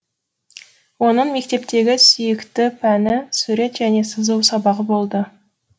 оның мектептегі сүйікті пәні сурет және сызу сабағы болды